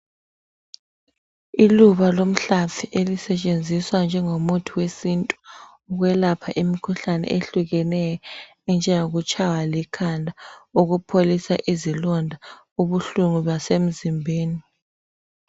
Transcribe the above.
Iluba lomhlafi elisetshenziswa njengo muthi wesintu ukwelapha imikhuhlane ehlukeneyo enjengoku tshaywa likhanda ukupholisa izilonda ubuhlungu basemzimbeni.